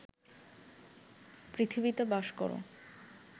পৃথিবীতে বাস কর